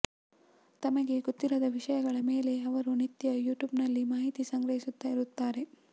ತಮಗೆ ಗೊತ್ತಿರದ ವಿಷಯಗಳ ಮೇಲೆ ಅವರು ನಿತ್ಯ ಯೂಟ್ಯೂಬ್ನಲ್ಲಿ ಮಾಹಿತಿ ಸಂಗ್ರಹಿಸುತ್ತಾ ಇರುತ್ತಾರೆ